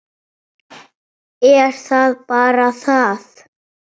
Er það bara það?